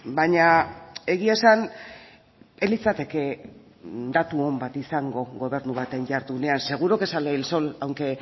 baina egia esan ez litzateke datu on bat izango gobernu baten jardunean seguro que sale el sol aunque